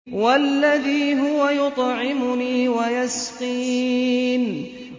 وَالَّذِي هُوَ يُطْعِمُنِي وَيَسْقِينِ